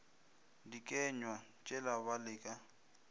dikenywa tšela ba le ka